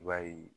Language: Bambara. I b'a ye